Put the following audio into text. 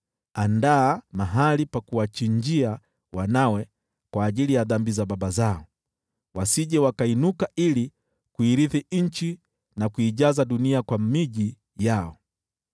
Andaa mahali pa kuwachinjia wanawe kwa ajili ya dhambi za baba zao, wasije wakainuka ili kuirithi nchi na kuijaza dunia kwa miji yao.